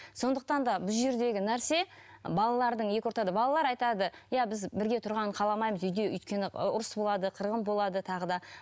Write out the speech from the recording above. сондықтан да бұл жердегі нәрсе і балалардың екі ортада балалар айтады иә біз бірге тұрғанын қаламаймыз үйде өйткені ы ұрыс болады қырғын болады тағы да